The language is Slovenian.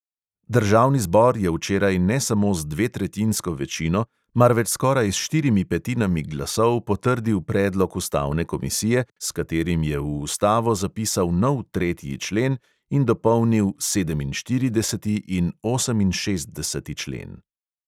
Državni zbor je včeraj ne samo z dvetretjinsko večino, marveč skoraj s štirimi petinami glasov potrdil predlog ustavne komisije, s katerim je v ustavo zapisal nov tretji člen in dopolnil sedeminštirideseti in oseminšestdeseti člen.